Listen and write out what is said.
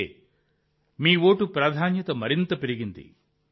అందుకే మీ ఓటు ప్రాధాన్యత మరింత పెరిగింది